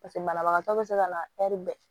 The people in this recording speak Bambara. Paseke banabagatɔ bɛ se ka na bɛɛ